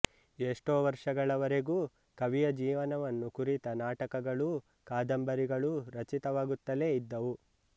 ಎಷ್ಟೋ ವರ್ಷಗಳವರೆಗೂ ಕವಿಯ ಜೀವನವನ್ನು ಕುರಿತ ನಾಟಕಗಳೂ ಕಾದಂಬರಿಗಳೂ ರಚಿತವಾಗುತ್ತಲೆ ಇದ್ದವು